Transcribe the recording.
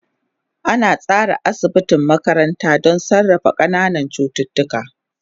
An tsara asibiti makaranta don sarrafa ƙananan cututtuka.